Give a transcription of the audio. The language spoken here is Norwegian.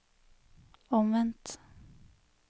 omvendt